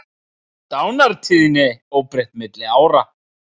Dánartíðni óbreytt milli ára